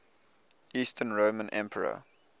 eastern roman emperor